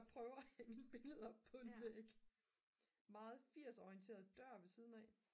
der prøver at hænge billede op på en væg meget 80'er orienteret dør ved siden af